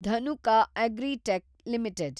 Dhanuka Agritech limited